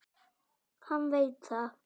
Hann veit það.